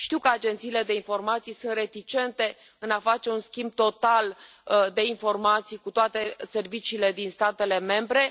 Știu că agențiile de informații sunt reticente în a face un schimb total de informații cu toate serviciile din statele membre.